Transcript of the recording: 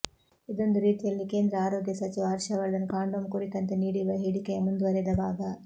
ಇದೊಂದು ರೀತಿಯಲ್ಲಿ ಕೇಂದ್ರ ಆರೋಗ್ಯ ಸಚಿವ ಹರ್ಷವರ್ಧನ್ ಕಾಂಡೋಮ್ ಕುರಿತಂತೆ ನೀಡಿರುವ ಹೇಳಿಕೆಯ ಮುಂದುವರಿದ ಭಾಗ